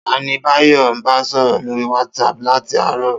Ta ni Báyò̩ ń bá sò̩rò̩ lórí WhatsApp láti àárò̩?